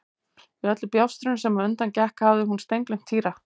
Í öllu bjástrinu sem á undan gekk hafði hún steingleymt Týra.